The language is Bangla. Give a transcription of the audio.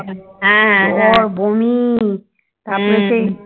জ্বর বমি তারপরে সেই